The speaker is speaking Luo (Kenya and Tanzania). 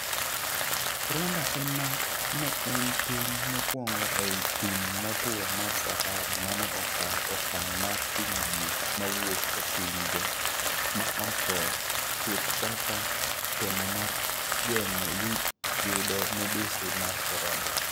Rwanda ema ne en piny mokuongo ei thim motuo mar Sahara mane okao okang' mar kumo ji mawuok e pinje ma oko chuth kaka temo mar geng'o yudo midhusi mar korona.